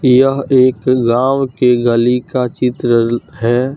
यह एक लांव की लली का चित्र है।